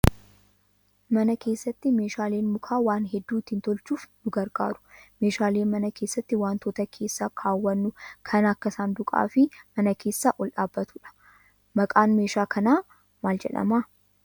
Mana keessatti meeshaaleen mukaa waan hedduu ittiin tolchuuf ni gargaaru. Meeshaaleen mana keessatti wantoota keessa kaawwannu kan akka saanduqaa fi mana keessa ol dhaabbatudha. Maqaan meeshaa manaa kanaa maal jedhamaa?